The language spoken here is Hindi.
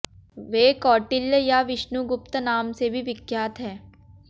वे कौटिल्य या विष्णुगुप्त नाम से भी विख्यात हैं